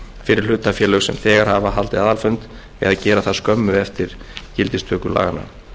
fyrir hlutafélög sem þegar hafa haldið aðalfund eða gera það skömmu eftir gildistöku laganna